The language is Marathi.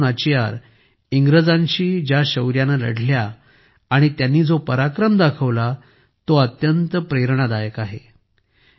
राणी वेलू नाचियार यांनी इंग्रजांशी ज्या शौर्याने लढल्या आणि त्यांनी जो पराक्रम करून दाखवला तो अत्यंत प्रेरणादायक आहे